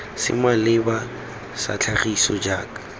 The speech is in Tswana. se maleba sa tlhagiso jaaka